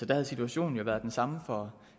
der havde situationen jo været den samme for